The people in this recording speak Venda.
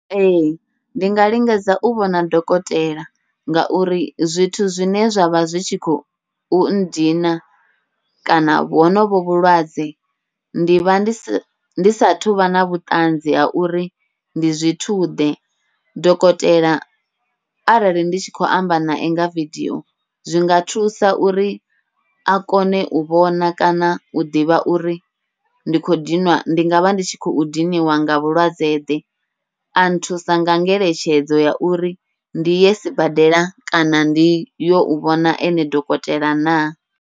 Ee, ndi nga lingedza u vhona dokotela, ngauri zwithu zwine zwavha zwi tshi khou ndina kana honovho vhulwadze, ndi vha ndi sa ndi sathu vha na vhutanzi ha uri ndi zwithu ḓe. Dokotela arali ndi tshi khou amba nae nga vidio, zwinga thusa uri a kone u vhona kana u ḓivha uri ndi khou dinwa ndi ngavha ndi tshi khou diniwa nga vhulwadze ḓe, a nthusa nga ngeletshedzo ya uri ndi ye sibadela, kana ndiyo u vhona ene dokotela na.